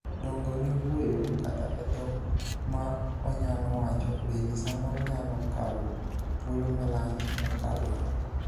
dongo ne wuoyo kata e dhok ma onyalo wacho bende samoro nyalo kawo thuolo malach mokalore